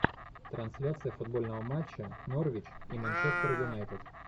трансляция футбольного матча норвич и манчестер юнайтед